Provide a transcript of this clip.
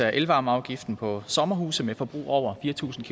af elvarmeafgiften på sommerhuse med forbrug over fire tusind